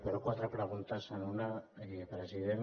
però quatre preguntes en una president